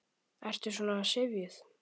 Ertu svona syfjuð?